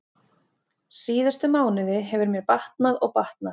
Síðustu mánuði hefur mér batnað og batnað.